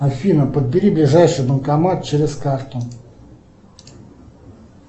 афина подбери ближайший банкомат через карту